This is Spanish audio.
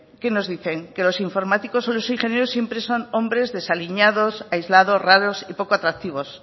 qué nos dicen que los informáticos o los ingenieros siempre son hombres desaliñados aislados raros y poco atractivos